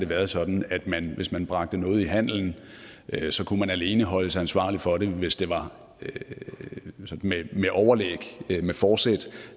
været sådan at hvis man bragte noget farligt i handelen kunne man alene holdes ansvarlig for det hvis det var med overlæg med fortsæt